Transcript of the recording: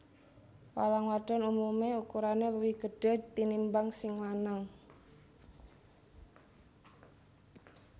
Walang wadon umumé ukurané luwih gedhé tinimbang sing lanang